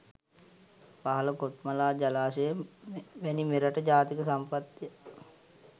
පහළ කොත්මලා ජලාශය වැනි මෙරට ජාතික සම්පත්ය.